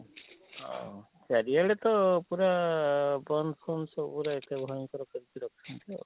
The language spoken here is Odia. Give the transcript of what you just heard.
ହଁ ସେ ଆଜିକାଲି ତ ପୁରା ଆଃ ବନ୍ଦ ପନ୍ଧ ସବୁରେ ଏତେ ଭୟଙ୍କର ଅଛନ୍ତି ଆଉ?